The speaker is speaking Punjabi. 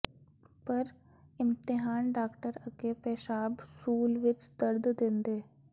ਪਰ ਇਮਤਿਹਾਨ ਡਾਕਟਰ ਅੱਗੇ ਪੇਸ਼ਾਬ ਸੂਲ ਵਿੱਚ ਦਰਦ ਦਿੰਦੇ